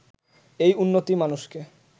এই উন্নতিই মানুষকে